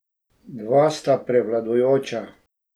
Dva sta prevladujoča.